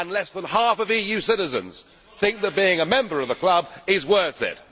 Less than half of EU citizens think that being a member of the club is worth it.